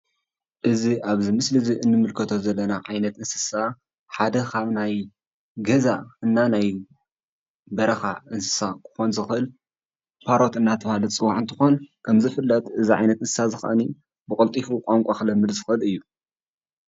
እዚ ኣብዚ ምስሊ እዚ እንምልከቶ ዘለና ዓይነት እንስሳ ሓደ ካብ ናይ ገዛ እና ናይ በረኻ እንስሳ ክኾን ዝኽእል ፓሮት እናተብሃለ ዝፅዋዕ እንትኾን ከም ዝፍለጥ እዚ ዓይነት እንስሳ እዚ ከዓኒ ብቀልጢፉ ቛንቛ ክለምድ ዝክእል እዩ፡፡